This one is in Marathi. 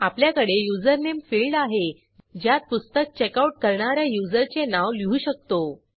आपल्याकडे युजरनेम फिल्ड आहे ज्यात पुस्तक चेकआउट करणा या युजरचे नाव लिहू शकतो